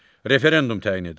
Referendum təyin edir.